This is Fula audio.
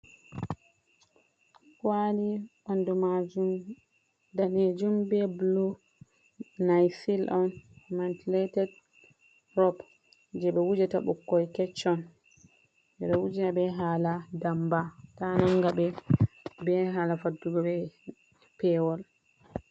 Kwali ɓandu majum danejum be bulu naisil on. mantuletet rob je ɓe wujata ɓikkoy kechon beɗo wujinaɓe hala ndamba ta nanga ɓe, be hala faddugo ɓe pewol.